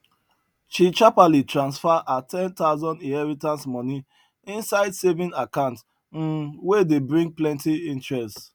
she shaperly transfer her ten thousand inheritance moni inside saving account um wey dey bring plenty interest